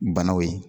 Banaw ye